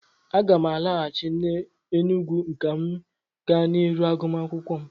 Aga m alọghachi n'Enugwu ka m gaa n'ihu n'agụmakwụkwọ m